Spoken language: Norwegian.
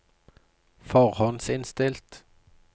forhåndsinnstilt